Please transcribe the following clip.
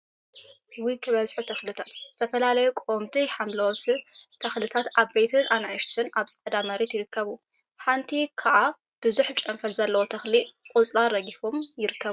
ውይ ክበዝሑ ተክሊታት! ዝተፈላለዩ ቀወምቲ ሓምለዎት ተክሊታትን ዓበይትን አናእሽተይን አብ ፃዕዳ መሬት ይርከቡ፡፡ ሓንቲ ከዓ ቡዙሕ ጨንፈር ዘለዋ ተክሊ ቆፅላ ረጊፎም ይርከቡ፡፡